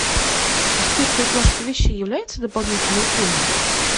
стирка и глажка вещей является дополнительной услугой